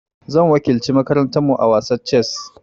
Zan wakilci makarantar mu a wasan chess.